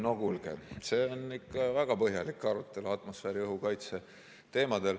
No kuulge, see on ikka väga põhjalik arutelu atmosfääriõhu kaitse teemadel.